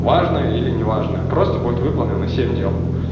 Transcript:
важное или неважное просто будет выполнено семь дел